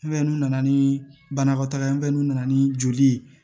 n'u nana ni banakɔtaa ye n'u nana ni joli ye